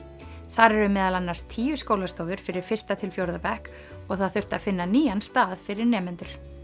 þar eru meðal annars tíu skólastofur fyrir fyrsta til fjórða bekk og það þurfti að finna nýjan stað fyrir nemendur